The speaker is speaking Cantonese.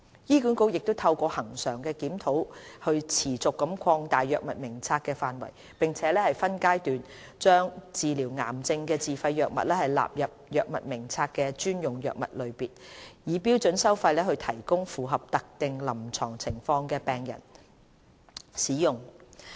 醫管局亦透過恆常的檢討持續擴大藥物名冊的範圍，並分階段把治療癌症的自費藥物納入藥物名冊的專用藥物類別，以標準收費提供予符合特定臨床情況的病人使用。